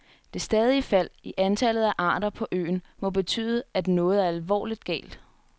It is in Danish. Det stadige fald i antallet af arter på øen må betyde, at noget er alvorligt galt.